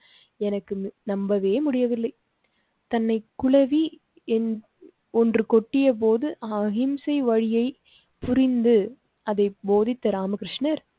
எனக்கு நம்பவே முடியவில்லை. தன்னைக் குழவி ஒன்று கொட்டியபோது அகிம்சை வழியை புரிந்து அதை போதித்த ராமகிருஷ்ணர்.